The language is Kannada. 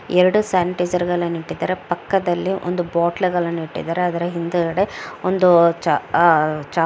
ಎರಡೂ ಸ್ಯಾನಿಟೈಜರ್ಗಳನ್ನೂ ಇಟ್ಟಿದ್ದಾರೆ ಪಕ್ಕದಲ್ಲಿ ಒಂದು ಬೊಟ್ಲುಗಳನ್ನು ಇಟ್ಟಿದ್ದಾರೆ ಅದರ ಹಿಂದುಗಡೆ ಒಂದು ಚ ಆಹ್ ಚ --